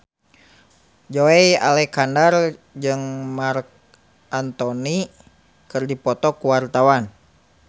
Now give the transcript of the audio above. Joey Alexander jeung Marc Anthony keur dipoto ku wartawan